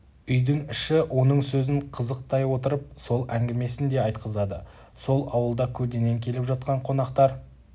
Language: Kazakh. үйдің іші оның сөзін қызықтай отырып сол әңгімесін де айтқызды сол ауылда көлденең келіп жатқан қонақтар